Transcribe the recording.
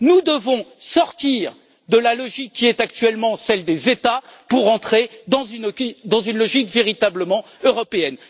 Nous devons sortir de la logique qui est actuellement celle des États pour entrer dans une logique véritablement européenne.